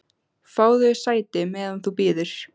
Fáðu þér sæti, meðan þú bíður